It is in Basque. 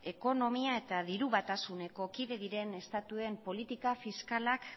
ekonomia eta diru batasuneko kide diren estatuen politika fiskalak